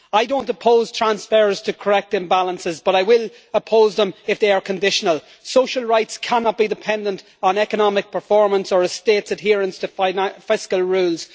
I do not oppose transfers to correct imbalances but I will oppose them if they are conditional. Social rights cannot be dependent on economic performance or a state's adherence to fiscal rules.